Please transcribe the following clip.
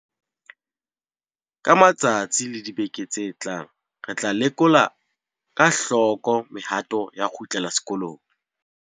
Ka matsatsi le dibeke tse tlang re tla lekola ka hloko mehato ya ho kgutlela sekolong.